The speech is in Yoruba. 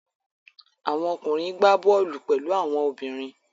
Àwọn okùnrin gbá bọ́ọ́lù pẹ̀lú àwọn obìnrin.